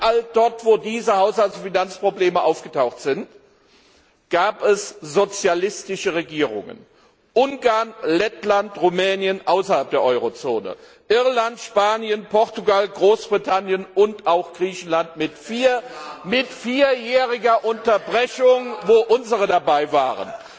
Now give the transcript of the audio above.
Überall dort, wo diese Haushalts und Finanzprobleme aufgetaucht sind, gab es sozialistische Regierungen. Ungarn, Lettland, Rumänien, außerhalb der Eurozone, Irland, Spanien, Portugal, Großbritannien und auch Griechenland mit vierjähriger Unterbrechung, wo unsere dabei waren.